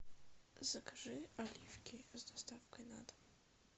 закажи оливки с доставкой на дом